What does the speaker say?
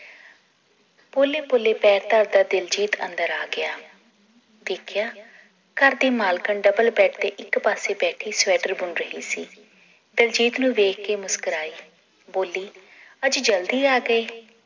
ਪੋਲੇ ਪੋਲੇ ਪੈਰ ਧਰਦਾ ਦਿਲਜੀਤ ਅੰਦਰ ਆਗਿਆ ਵੇਖਿਆ ਘਰ ਦੀ ਮਾਲਕਣ ਡਬਲ ਬੈਡ ਤੇ ਇੱਕ ਪਾਸੇ ਬੈਠੀ ਸਵੈਟਰ ਬੁੰਨ ਰਹੀ ਸੀ ਦਿਲਜੀਤ ਨੂੰ ਦੇਖ ਕੇ ਮੁਸਕੁਰਾਈ ਬੋਲੀ ਅੱਜ ਜਲਦੀ ਆ ਗਏ